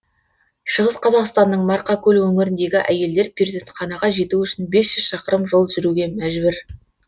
шығыс қазақстанның марқакөл өңіріндегі әйелдер перзентханаға жету үшін бес жүз шақырым жол жүруге мәжбүр